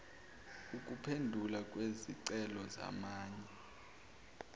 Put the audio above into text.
ukuphendulwa kwezicelo zamanye